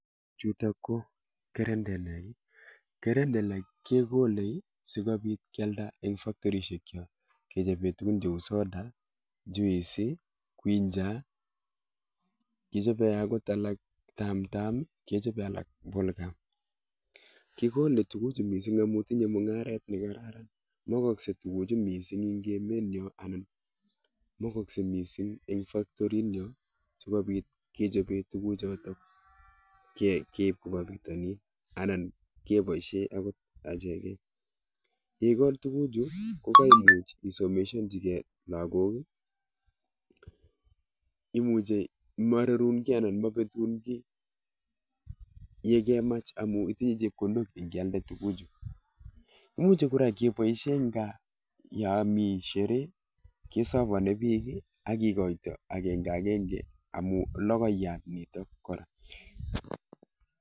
Chutok ko kerendelek. Kerendelek kekolei sikobit kialda eng factorishek chok sikobit kechobe tukuk cheu soda, juice, quincher, kechobei akot alak tamtam, kechobei alak ball gum. kikolei tukuchu mising amun tinyei mung'aret ne kararan. Makoskei tukuchu mising eng emenyo anan makoskei mising eng factorinyo sikobit kechobe tukuchotok keip koba bitanin anan keboishe akot acheket. Yeikol tukuchu ko agoi isomeshanchikei lagok. Imuchei marerun kiy anan mabetun kiy yekemach amun itinye chepkondok yekealde tukuchu. muche kora keboishe eng gaa yo mi shere bwanei pik ak kekochin agenge agenge amun logoiyat nitok kora.